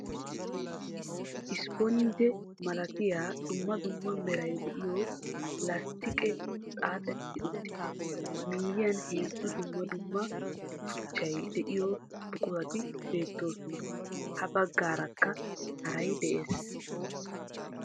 Ispponjjee malatiya dumma dumma meray de'iyo lasttiqqee xaaxxeti uttiis, a miyiyan heezzu dumma dumma tuchchay de'iyo buqurati beettoosona. Ha baggaarakka haray de'ees.